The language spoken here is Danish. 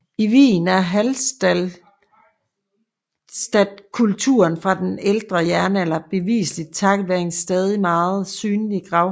I Wien er hallstattkulturen fra den ældre jernalder beviselig takket være en stadig meget synlig gravhøj